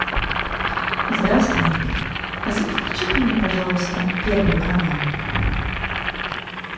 здравствуй включи ка мне пожалуйста первый канал